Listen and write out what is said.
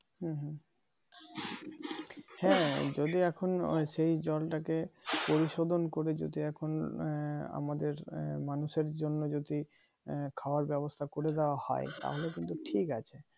হুম হুম হ্যাঁ যদি এখন সেই জলটাকে পরিশোধন করে যদি এখন আহ আমাদের আহ মানুষের জন্য যদি আহ খাওয়ার ব্যবস্থা করে দেওয়া হয় তাহলে কিন্তু ঠিক আছে